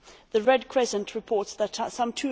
The Red Crescent reports that some